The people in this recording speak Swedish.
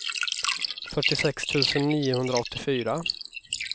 fyrtiosex tusen niohundraåttiofyra